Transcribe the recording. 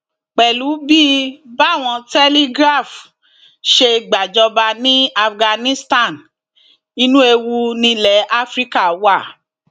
pẹlú bí báwọn telegraph ṣe gbàjọba ní afghanistan inú ewu nílẹ afrika wà